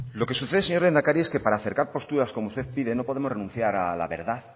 lo que sucede señor lehendakari es que para acercar posturas como usted pide no podemos renunciar a la verdad